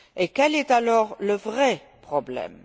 Quel est alors le vrai problème?